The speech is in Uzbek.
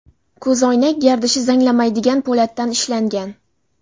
Ko‘zoynak gardishi zanglamaydigan po‘latdan ishlangan.